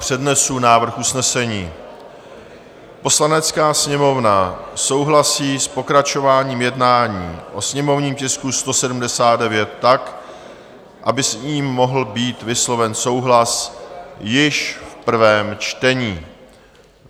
Přednesu návrh usnesení: "Poslanecká sněmovna souhlasí s pokračováním jednání o sněmovním tisku 179 tak, aby s ním mohl být vysloven souhlas již v prvém čtení."